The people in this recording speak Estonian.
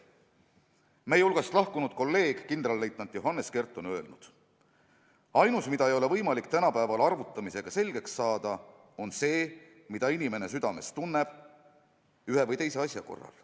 Meie hulgast lahkunud kolleeg kindralleitnant Johannes Kert on öelnud: "Ainus, mida ei ole võimalik tänapäeval arvutamisega selgeks saada, on see, mida inimene südames tunneb ühe või teise asja korral.